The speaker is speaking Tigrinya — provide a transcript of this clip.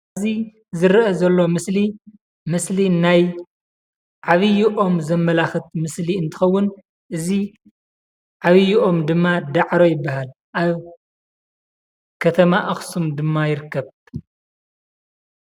እዚ ዝርአ ዘሎ ምስሊ ምስሊ ናይ ዓብዪ ኦም ዘመላኽት ምስሊ እንትኸዉን እዚ ዓብዪ ኦም ድማ ዳዕሮ ይብሃል። ኣብ ከተማ ኣክሱም ድማ ይርከብ።